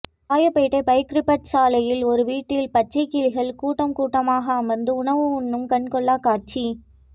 Royapettah Pycrofts சாலையில் ஒரு வீட்டில் பச்சை கிளிகள் கூட்டம் கூட்டமாக அமர்ந்து உணவு உண்ணும் கண்கொள்ளா காட்சி